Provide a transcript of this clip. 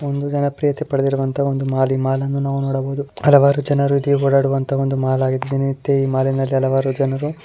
ಒಂದು ಜನಪ್ರಿಯತೆ ಪಡೆದಿರುವಂತಹ ಒಂದು ಮಾಲ್ . ಈ ಮಾಲ್ ಅನ್ನು ನಾವು ನೋಡಬಹುದು ಹಲವಾರು ಜನರು ಇಲ್ಲಿ ಓಡಾಡುವಂತ ಒಂದು ಮಾಲ್ ಆಗಿದೆ.